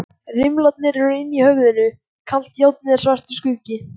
Rimlarnir eru inni í höfðinu, kalt járnið er svartur skuggi.